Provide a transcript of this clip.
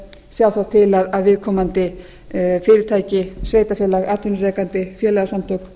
sjá þá til að viðkomandi fyrirtæki sveitarfélagi atvinnurekanda félagasamtökum